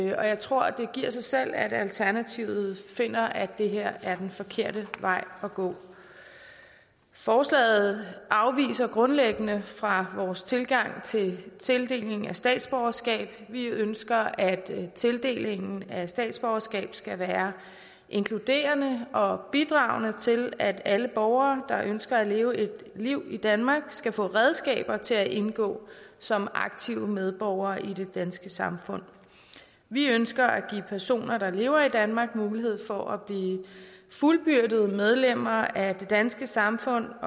jeg tror det giver sig selv at alternativet finder at det her er den forkerte vej at gå forslaget afviger grundlæggende fra vores tilgang til tildeling af statsborgerskab vi ønsker at tildelingen af statsborgerskab skal være inkluderende og bidragende til at alle borgere der ønsker at leve et liv i danmark skal få redskaber til at indgå som aktive medborgere i det danske samfund vi ønsker at give personer der lever i danmark mulighed for at blive fuldbyrdede medlemmer af det danske samfund